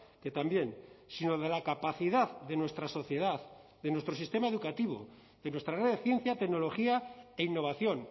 que también sino de la capacidad de nuestra sociedad de nuestro sistema educativo de nuestra red de ciencia tecnología e innovación